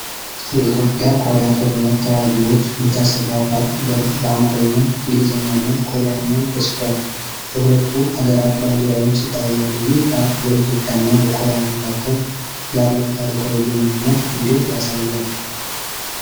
የኢትዮጵያ ኮሪያ ጦርነት ተዋጊዎች መታሰቢያ ፓርክ በር በአማርኛ፣ እንግሊዝኛ እና ኮሪያኛ ተጽፏል። የሁለቱ አገራት ባንዲራዎች ይታያሉ። ይህ ፓርክ በኢትዮጵያና በኮሪያ መካከል ያለውን ታሪካዊ ግንኙነት እንዴት ያሳያል?